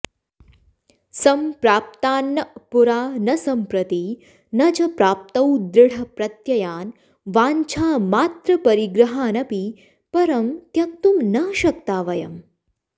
सम्प्राप्तान्न पुरा न सम्प्रति न च प्राप्तौ दृढप्रत्ययान् वाञ्छामात्रपरिग्रहानपि परं त्यक्तुं न शक्ता वयम्